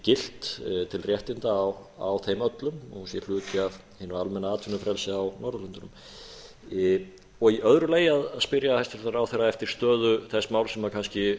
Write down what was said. gilt til réttinda á þeim öllum sé hluti af hinu almenna atvinnufrelsi á norðurlöndunum í öðru lagi að spyrja hæstvirtan ráðherra eftir stöðu þess máls sem kannski